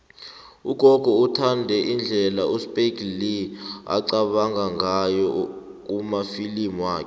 ugogo uthanda indlela uspike lee aqabanga ngayo kumafilimu wakhe